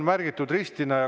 Märgitakse ristiga.